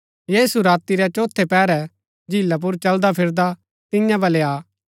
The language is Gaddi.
यीशु राती रै चोथै पैहरै झीला पुर चलदा चलदा तियां बलै आ